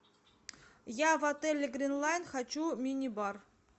я в отеле гринланд хочу мини бар